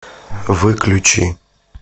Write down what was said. выключи